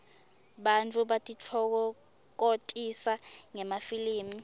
bantfu batitfokokotisa ngemafilmi